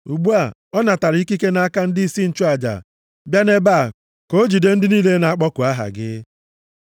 Ugbu a, ọ natara ikike nʼaka ndịisi nchụaja bịa nʼebe a ka o jide ndị niile na-akpọku aha gị.”